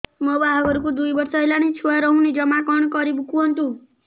ମୋ ବାହାଘରକୁ ଦୁଇ ବର୍ଷ ହେଲାଣି ଛୁଆ ରହୁନି ଜମା କଣ କରିବୁ କୁହନ୍ତୁ